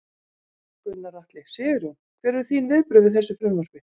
Gunnar Atli: Sigurjón, hver eru þín viðbrögð við þessu frumvarpi?